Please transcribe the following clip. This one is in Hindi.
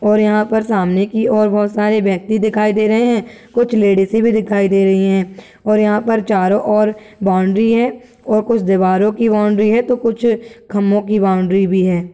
और यहाँ पर सामने की और बोहोत सारे व्यक्ति दिखाए दे रहे हैं कुछ लेडीसे भी दिखाई दे रही हैं और यहाँ पर चारों ओर बाउंड्री है और कुछ दीवारों की बाउंड्री है तो कुछ खम्भों की बाउंड्री भी हैं।